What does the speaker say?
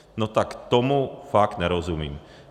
No tak tomu fakt nerozumím.